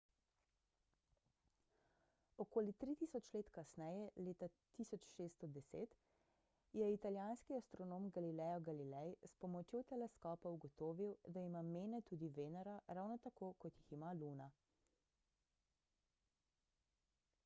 okoli tri tisoč let kasneje leta 1610 je italijanski astronom galileo galilei s pomočjo teleskopa ugotovil da ima mene tudi venera ravno tako kot jih ima luna